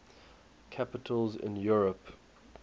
capitals in europe